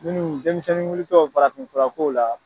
Minnu denmisɛnni wulitɔ farafinfura ko la